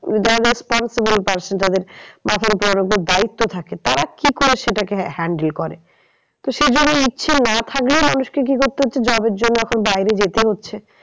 যারা responsible person তাদের মাথার ওপর ওদের দায়িত্ব থাকে তারা কি করে সেটাকে handle করে? তো সেইজন্য ইচ্ছে না থাকলেও মানুষকে কি করতে হচ্ছে job এর জন্য এখন বাইরে যেতে হচ্ছে।